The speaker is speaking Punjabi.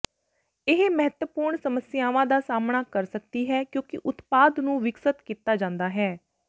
ਇਹ ਮਹੱਤਵਪੂਰਣ ਸਮੱਸਿਆਵਾਂ ਦਾ ਸਾਹਮਣਾ ਕਰ ਸਕਦੀ ਹੈ ਕਿਉਂਕਿ ਉਤਪਾਦ ਨੂੰ ਵਿਕਸਤ ਕੀਤਾ ਜਾਂਦਾ ਹੈ